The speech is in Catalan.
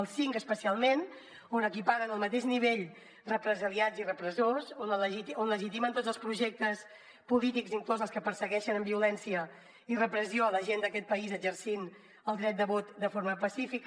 el cinc especialment on equiparen al mateix nivell represaliats i repressors on legitimen tots els projectes polítics inclosos els que persegueixen amb violència i repressió la gent d’aquest país exercint el dret de vot de forma pacífica